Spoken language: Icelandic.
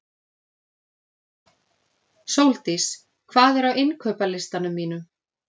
Sóldís, hvað er á innkaupalistanum mínum?